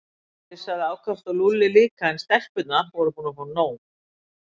Hann flissaði ákaft og Lúlli líka en stelpurnar voru búnar að fá nóg.